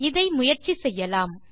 இதை முயற்சி செய்யலாம்